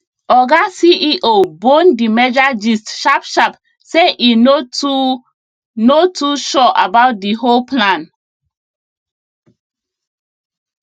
oga ceo bone the merger gist sharpsharp say e no too no too sure about the whole plan